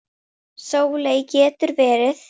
Sóley getur verið